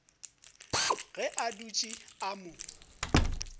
ge a dutše a mo